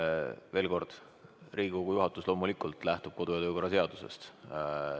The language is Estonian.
Rõhutan veel kord, et Riigikogu juhatus lähtub loomulikult kodu- ja töökorra seadusest.